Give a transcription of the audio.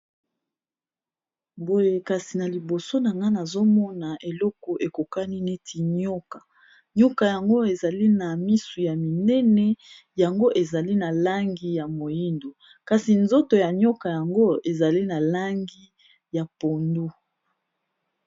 boye kasi na liboso na nga nazomona eloko ekokani neti nyoka nyoka yango ezali na misu ya minene yango ezali na langi ya moindo kasi nzoto ya nioka yango ezali na langi ya pondu